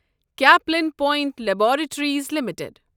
Caplin Point Laboratories limited